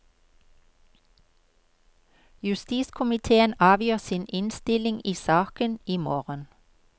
Justiskomitéen avgir sin innstilling i saken i morgen.